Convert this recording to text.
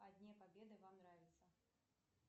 о дне победы вам нравится